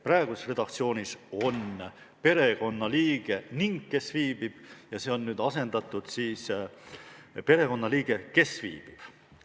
Praeguses redaktsioonis on fraas "perekonnaliige ning kes viibib", see on asendatud fraasiga "perekonnaliige, kes viibib".